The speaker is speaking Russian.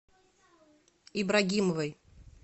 ибрагимовой